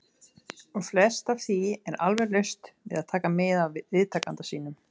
. og flest af því er alveg laust við að taka mið af viðtakanda sínum.